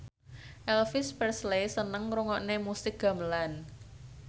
Elvis Presley seneng ngrungokne musik gamelan